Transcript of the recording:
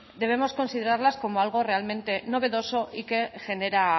debemos considerarlas como algo realmente novedoso y que genera